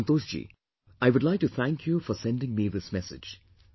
Santoshji, I would like to thank you for sending me this message